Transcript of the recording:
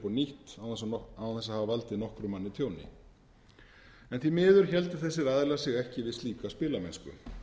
upp á nýtt án þess að hafa valdið nokkrum manni tjóni því miður héldu þessir aðilar sig ekki við slíka spilamennsku